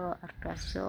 ku wada nool